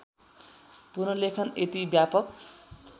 पुनर्लेखन यति व्यापक